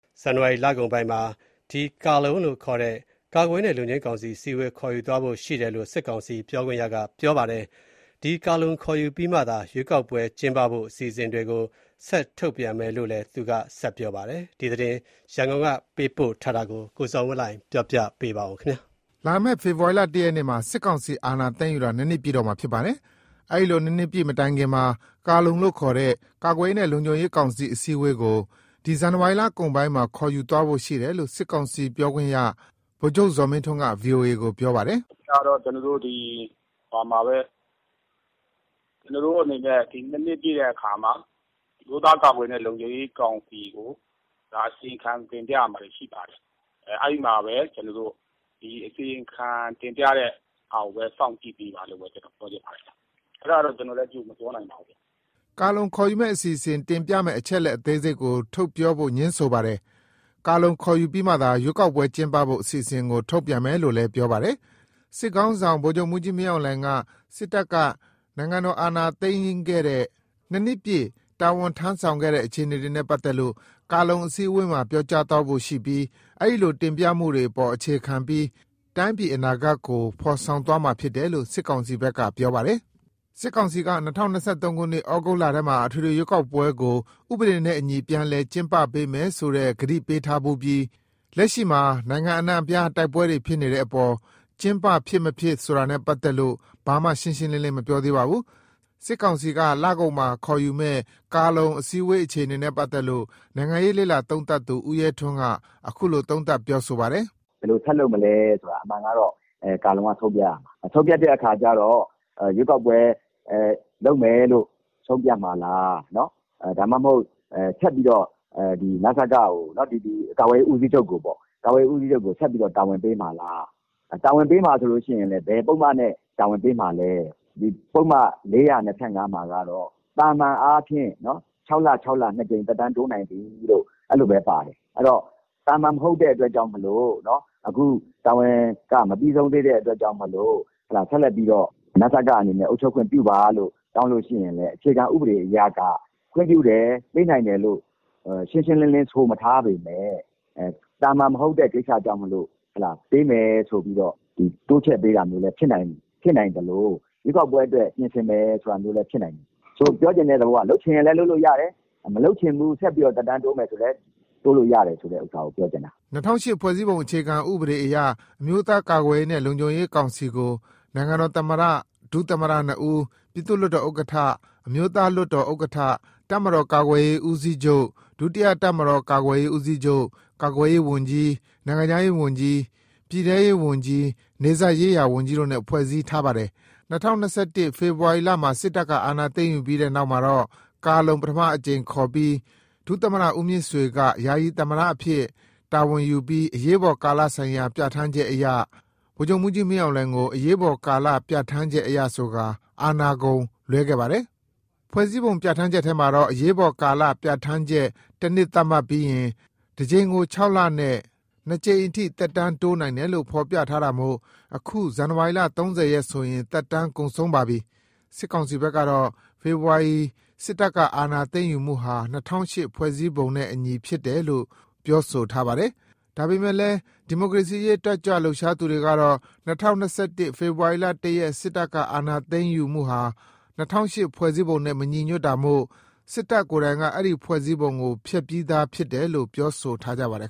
ဇန်နဝါရီလကုန်ပိုင်းမှာ ကာလုံအစည်းအဝေးခေါ်ယူသွားဖို့ရှိတယ်လို့ စစ်ကောင်စီပြောခွင့်ရ ကပြောပါတယ်။ ကာလုံခေါ်ယူပြီးမှသာ ရွေးကောက်ပွဲကျင်းပဖို့အစီအစဉ်တွေကို ထုတ်ပြန်မယ်လို့လည်းပြောပါတယ်။ ဒီသတင်း ရန်ကုန်ကပေးပို့တာကို ကိုဇော်ဝင်းလှိုင်က ပြောပြမှာပါ။ လာမယ့် ဖေဖော်ဝါရီ ၁ရက်နေ့မှာ စစ်ကောင်စီအာဏာသိမ်းယူတာ ၂နှစ်ပြည့်တော့မှာဖြစ်ပါတယ်။ အဲလို ၂နှစ်ပြည့်မတိုင်ခင်မှာ ကာလုံလို့ခေါ်တဲ့ ကာကွယ်ရေးနဲ့ လုံခြုံရေးကောင်စီ အစည်းအဝေးကို ဒီဇန်နဝါရီလကုန် ပိုင်းမှာ ခေါ်ယူသွားဖို့ရှိတယ်လို့ စစ်ကောင်စီပြောခွင့်ရ ဗိုလ်ချုပ်ဇော်မင်းထွန်းက ဗွီအိုအေ ပြောပါတယ်။ "အဓိကကတော့ကျနော်တို့ ၂နှစ်ပြည့်တဲ့ အခါ အမျိုးသားကာကွယ်ရေးနဲ့ လုံခြုံရေးကောင်စီကို အစီရင်ခံတင်ပြရမှာရှိပါတယ်။ အဲဒီမှာအစီရင်ခံတင်ပြမယ့်ဟာကိုစောင့်ကြည့်ပေးဖို့ ပြောချင်ပါတယ်။" ကာလုံခေါ်ယူမယ့်အစီအစဉ် တင်ပြမယ့်အချက်အလက်အသေးစိတ်ကိုထုတ်ပြောဖို့ ငြင်းဆိုပါတယ်။ ကာလုံခေါ်ယူပြီးမှသာ ရွေးကောက်ပွဲကျင်းပဖို့အစီအစဉ်တွေကို ထုတ်ပြန်မယ်လို့လည်း ပြောပါတယ်။ စစ်ခေါင်းဆောင် ဗိုလ်ချုပ်မှူးကြီးမင်းအောင်လှိုင်က စစ်တပ်က နိုင်ငံတော်အာဏာသိမ်းခဲ့ရတဲ့ ၂နှစ်ပြည့် တာဝန်ထမ်းဆောင်ခဲ့တဲ့ အခြေအနေတွေနဲ့ပတ်သက်လို့ ကာလုံအစည်း အဝေးမှာပြောကြားဖို့ရှိပြီး တင်ပြချက်တွေအပေါ်အခြေခံကာ တိုင်းပြည်အနာဂတ်ကို ဖော်ဆောင်သွားမှာဖြစ်တယ်လို့ စစ်ကောင်စီဘက်ကပြောပါတယ်။ စစ်ကောင်စီဘက်က ၂၀၂၃ ခုနှစ် ဩဂုတ်လထဲမှာ အထွေထွေရွေးကောက်ပွဲကို ဥပဒေနဲ့အညီ ပြန်လည် ကျင်းပပေး မယ်ဆိုတဲ့ ကတိပေးထားဖူးပြီး လက်ရှိမှာနိုင်ငံအနှံအပြား တိုက်ပွဲတွေ ဖြစ်နေတာကြောင့် ကျင်းပဖြစ်မဖြစ်နဲ့ပတ်သတ်လို့ ဘာမှရှင်းရှင်းလင်းလင်း မပြောသေးပါဘူး။ စစ်ကောင်စီက ဇန်နဝါရီလကုန်မှာ ကာလုံခေါ်ယူမယ့်အခြေအနေနဲ့ပတ်သတ်လို့ နိုင်ငံရေးလေ့လာသုံးသပ်သူ ဦးရဲထွန်း ကတော့ အခုလိုသုံးသပ်ပြောဆိုလိုက်ပါတယ်။ "ဘယ်လိုဆက်လုပ်မလဲဆိုတာ အမှန်က ကာလုံကဆုံးဖြတ်ရမှာ၊ ရွေးကောက်ပွဲလုပ်မယ်လို့ ဆုံးဖြတ်မှာလား၊ ဒါမှမဟုတ် နစကကို ကာကွယ်ရေးဦးစီးချုပ်ကိုဆက်ပြီးတော့ တာဝန်ပေးမှာလား ၊ တာဝန်ပေးမှာဆိုရင်လည်း ဘယ်ပုဒ်မနဲ့တာဝန်ပေးမှာလဲ။ ပုဒ်မ ၄၂၅ မှာကတော့ သာမာန်အားဖြင့် ၆ လ ၊ ၆ လ နှစ်ကြိမ် သက်တမ်းတိုးနိုင်သည်လို့ အဲ့လိုပဲပါတယ်။ အဲ့ဒီတော့ သာမာန်မဟုတ်တဲ့အတွက်ကြောင့်မို့လို့ အခုက တာဝန်ကမပြီးဆုံးသေးတဲ့အတွက်ကြောင့်မို့လို့ ဆက်လက်ပြီးတော့ နစကအနေနဲ့ အုပ်ချုပ်ခွင့်ပြုပါလို့ တောင်းလို့ရှိရင်လည်း အခြေခံဥပဒေအရက ခွင့်ပြုတယ် ပေးနိုင်တယ်လို့ ရှင်းရှင်းလင်းလင်းဆိုမထားပေမယ့် သာမာန်မဟုတ်တဲ့ကိစ္စကြောင့်မို့လို့ ပေးမယ်ဆိုပြီးတော့ တိုးပေးတာမျိုးလည်း ဖြစ်နိုင်သလို၊ ရွေးကောက်ပွဲအတွက် ပြင်ဆင်မယ် ဆိုတာမျိုးလည်းဖြစ်နိုင်တယ်။ ပြောချင်တဲ့သဘောက လုပ်ချင်ရင်လည်း လုပ်လို့ရတယ်၊ မလုပ်ချင်ဘူး ဆက်ပြီးတော့ သက်တမ်းတိုးမယ်ဆိုလည်း လုပ်လို့ရတယ်ဆိုတာကို ပြောချင်တာ" ၂၀၀၈ ဖွဲ့စည်းပုံအခြေခံဥပဒေအရ အမျိုးသားကာကွယ်ရေးနဲ့ လုံခြုံရေးကောင်စီကို နိုင်ငံတော်သမ္မတ၊ ဒုတိယသမ္မတနှစ်ဦး၊ ပြည်သူ့လွှတ်တော်ဥက္ကဋ္ဌ၊ အမျိုးသားလွှတ်တော်ဥက္ကဋ္ဌ၊ တပ်မတော် ကာကွယ်ရေးဦးစီး ချုပ်၊ ဒုတိယတပ်မတော်ကာကွယ်ရေးဦးစီးချုပ်၊ ကာကွယ်ရေးဝန်ကြီး၊ နိုင်ငံခြားရေးဝန်ကြီး၊ ပြည်ထဲရေးဝန်ကြီး၊ နယ်စပ်ရေးရာဝန်ကြီးတို့နဲ့ ဖွဲ့စည်းထားပါတယ်။ ၂၀၂၁ ခုနှစ် ဖေဖော်ဝါရီ စစ်တပ်ကအာဏာသိမ်းယူမှုပြီးနောက်မှာ ကာလုံပထမအကြိမ်ခေါ်ကာ ဒုသမ္မတ ဦးမြင့်ဆွေက ယာယီသမ္မတအဖြစ်ရယူပြီး၊ အရေးပေါ်ကာလဆိုင်ရာပြဌာန်းချက်အရ ဗိုလ်ချုပ်မှုးကြီး မင်းအောင်လှိုင်ကို အရေးပေါ်ကာလပြဌာန်းချက်အရဆိုကာ အာဏာကုန်လွှဲခဲ့ပါတယ်။ ဖွဲ့စည်းပုံပြဌာန်းချက်ထဲမှာတော့ အရေးပေါ်ကာလပြဌာန်းချက် တစ်နှစ်သတ်မှတ်ပြီးရင်၊ တစ်ကြိမ်ကို ၆ လနဲ့ နှစ်ကြိမ်အထိ သက်တမ်းတိုးနိုင်တယ်လို့ ဖော်ပြထားတာမို့ အခု ဇန်နဝါရီ ၃၀ ရက်ဆိုရင် သက်တမ်းကုန်ပါပြီ။ စစ်ကောင်စီဘက် ကတော့ ဖေဖော်ဝါရီ စစ်တပ်ကအာဏာ သိမ်းယူမှုဟာ ၂၀၀၈ ခုနှစ်ဖွဲ့စည်းပုံနဲ့အညီဖြစ်တယ်လို့ စစ်ကောင်စီက ပြောထားပါတယ်။ ဒါပေမယ့်လည်း ဒီမိုကရေစီရေး အဖွဲ့အစည်းတွေ တတ်ကြွ လှုပ် ရှားသူတွေကတော့ ၂၀၂၁ ဖေဖော်ဝါရီလ ၁ ရက် စစ်တပ်အာဏာ သိမ်းမှု ဟာ ၂၀၀၈ ဖွဲ့စည်းပုံနဲ့မညီ ညွတ်တာမို့၊ စစ်တပ်ကိုယ်တိုင်က အဲဒီ ဖွဲ့စည်းပုံကို ဖျက်ပြီးသားဖြစ် တယ်လို့ ပြောဆိုထားကြပါတယ်